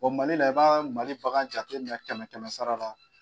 Mali la i b'an Mali bagan jateminɛ kɛmɛ kɛmɛ sara la.